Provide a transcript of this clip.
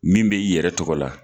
Min be i yɛrɛ tɔgɔ la